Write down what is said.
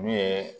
N'u ye